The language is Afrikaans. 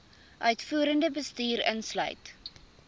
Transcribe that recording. uitvoerende bestuur insluit